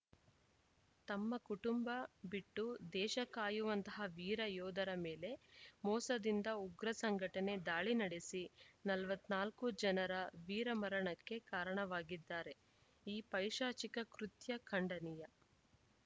ತಮ್ಮ ಕುಟುಂಬ ಬಿಟ್ಟು ದೇಶ ಕಾಯುವಂತಹ ವೀರ ಯೋಧರ ಮೇಲೆ ಮೋಸದಿಂದ ಉಗ್ರ ಸಂಘಟನೆ ದಾಳಿ ನಡೆಸಿ ನಲವತ್ತ್ ನಾಲ್ಕು ಜನರ ವೀರ ಮರಣಕ್ಕೆ ಕಾರಣವಾಗಿದ್ದಾರೆ ಈ ಪೈಶಾಚಿಕ ಕೃತ್ಯ ಖಂಡನೀಯ